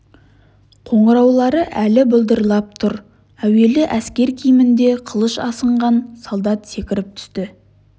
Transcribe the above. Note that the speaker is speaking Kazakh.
қоңыраулары әлі былдырлап тұр әуелі әскер киімінде қылыш асынған солдат секіріп түсті